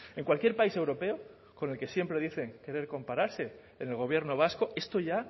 en cualquier país europeo con el que siempre dicen querer compararse en el gobierno vasco esto ya